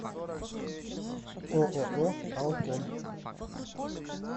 ооо алком